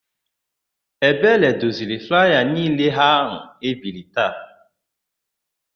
Ebere doziri flaya niile áhụ̀ e biri taa.